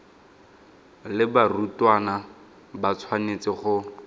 le barutwana ba tshwanetse go